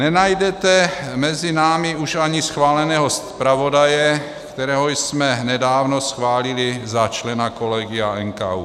Nenajdete mezi námi už ani schváleného zpravodaje, kterého jsme nedávno schválili za člena kolegia NKÚ.